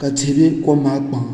ka tihi bɛ kom maa kpaŋa